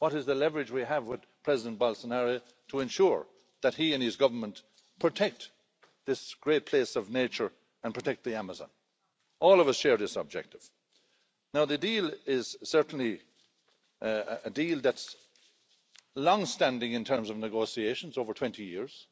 What is the leverage we have with President Bolsonaro to ensure that he and his government protect this great place of nature and protect the Amazon? All of us share this objective. The deal is certainly a deal that's long standing in terms of negotiations over 20 years.